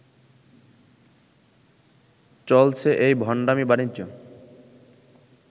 চলছে এই ভণ্ডামি বাণিজ্য